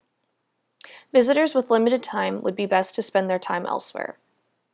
visitors with limited time would be best to spend their time elsewhere